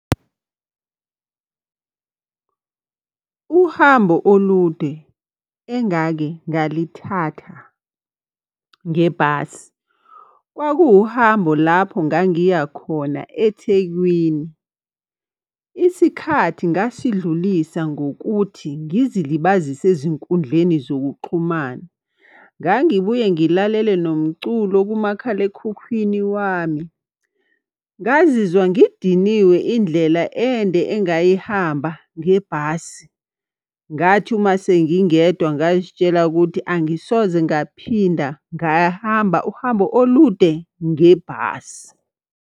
Uhambo olude engake ngalithatha ngebhasi. Kwakuwuhambo lapho ngangiya khona eThekwini. Isikhathi ngasidlulisa ngokuthi ngizilibazise ezinkundleni zokuxhumana. Ngangibuye ngilalele nomculo kumakhalekhukhwini wami. Ngazizwa ngidiniwe indlela ende engayihamba ngebhasi. Ngathi uma sengingedwa ngazitshela ukuthi angisoze ngaphinda ngahamba uhambo olude ngebhasi.